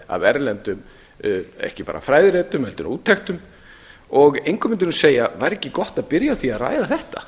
aragrúi af erlendum ekki bara fræðiritum heldur bara úttektum og væri ekki gott að byrja á því að ræða þetta